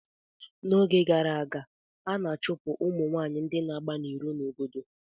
N'oge gara aga a na-achụpụ ụmụ nwanyị ndị na-agba n'iro n'obodo